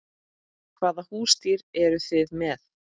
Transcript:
Hvaða húsdýr eru þið með?